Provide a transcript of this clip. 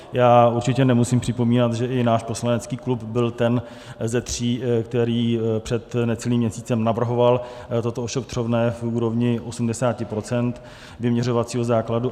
Já určitě nemusím připomínat, že i náš poslanecký klub byl ten ze tří, který před necelým měsícem navrhoval toto ošetřovné v úrovni 80 % vyměřovacího základu.